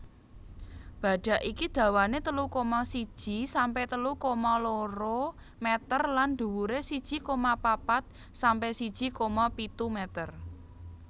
Badhak iki dawané telu koma siji sampe telu koma loro meter lan dhuwuré siji koma papat sampe siji koma pitu meter